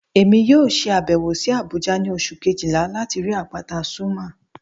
Emi yoo ṣe abẹwo si Abuja ni Oṣu kejila lati rii apata Zuma